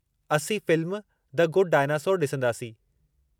असीं film The Good Dinosaur ॾिसंदासीं।